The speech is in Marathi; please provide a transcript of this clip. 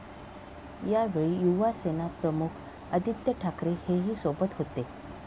यावेळी युवासेना प्रमुख आदित्य ठाकरे हेही सोबत होते.